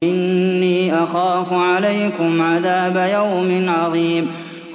إِنِّي أَخَافُ عَلَيْكُمْ عَذَابَ يَوْمٍ عَظِيمٍ